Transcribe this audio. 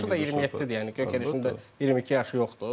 Yaşı da 27-dir, yəni Gök Yereşin də 22 yaşı yoxdur.